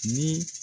Ni